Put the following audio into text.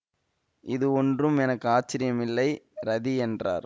இது ஒன்றும் எனக்கு ஆச்சரியமில்லை ரதி என்றார்